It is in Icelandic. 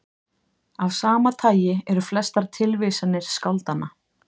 Af sama tagi eru flestar tilvísanir skáldanna.